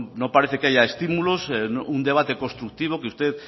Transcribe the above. no parece que haya estímulos un debate constructivo que usted